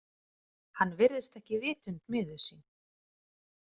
Hann virðist ekki vitund miður sín.